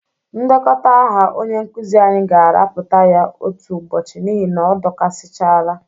Ndekọta aha onye nkụzị anyị ga-arapụta ya otu ụbọchị n'ihi na ọ dọkasịchala.